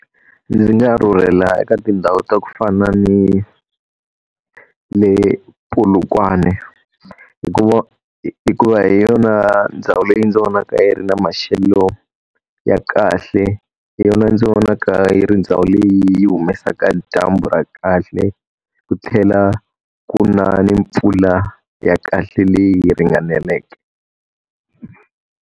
Ndzi nga rhurhela eka tindhawu ta ku fana ni ni Polokwane. Hikuva hi yona ndhawu leyi ndzi vonaka yi ri na maxelo ya kahle, hi yona ndzi vonaka yi ri ndhawu leyi yi humesaka dyambu ra kahle, ku tlhela ku na ni mpfula ya kahle leyi ringaneleke.